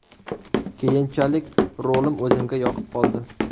Keyinchalik rolim o‘zimga yoqib qoldi.